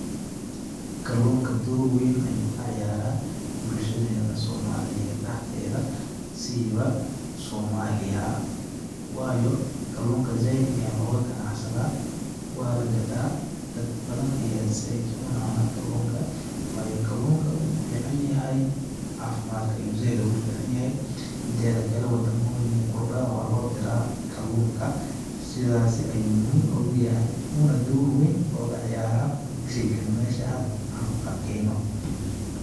Kalluunka door weyn ayuu ka ciyaraa bulshadeena somaliyeed dhaxdeeda siiba Somalia ,waayo kalluunka zaaid ayaa looga ganacsadaa ,waa la gataa dad badan ayaa zaaid u cunaanaa kalluunka ,waayo kalluunka wuu fiican yahay ,cafimaadka ayuu zaaid oogu fiican yahay, mideeda kale wadamooyin qurba waa loo diraa kalluunka ,sidaasi ayuu muhim oogu yahay uuna door weyn ooga ciyaraa sheygani aan meesha ku arkeeyno.